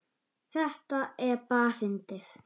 Þetta er bara fyndið.